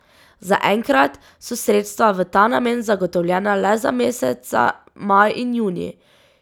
Zaenkrat so sredstva v ta namen zagotovljena le za meseca maj in junij.